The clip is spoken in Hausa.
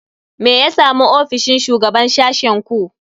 Me ya samu ofishin shugaban sashen ku?